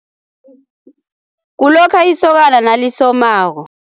Kulokha isokana nalisomako.